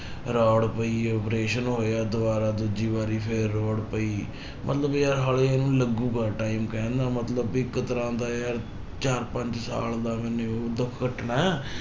Road ਪਈ operation ਹੋਇਆ ਦੁਬਾਰਾ ਦੂਜੀ ਵਾਰੀ ਫਿਰ road ਪਈ ਮਤਲਬ ਕਿ ਯਾਰ ਹਾਲੇ ਇਹਨੂੂੰ ਲੱਗੇਗਾ time ਕਹਿਣ ਦਾ ਮਤਲਬ ਵੀ ਇੱਕ ਤਰ੍ਹਾਂ ਦਾ ਯਾਰ ਚਾਰ ਪੰਜ ਸਾਲ ਦਾ ਮੈਨੇ ਉਹ ਦੁੱਖ ਕੱਟਣਾ,